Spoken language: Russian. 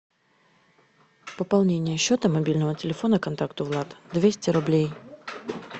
пополнение счета мобильного телефона контакту влад двести рублей